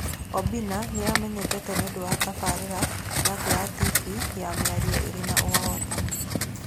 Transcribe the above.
Obinna nĩ amenyekete nĩ ũndũ wa tabarĩra yake ya TV ya mĩario ĩrĩ na ũhootani.